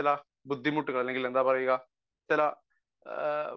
speaker 1 ചില ബുദ്ധിമുട്ടുകൾ അല്ലെങ്കിൽ എന്താ പറയുക ചില